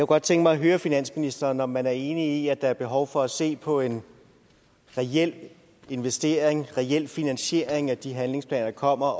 godt tænke mig høre finansministeren om man er enig i at der er behov for at se på en reel investering og en reel finansiering af de handlingsplaner der kommer